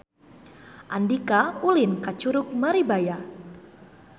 Andika ulin ka Curug Maribaya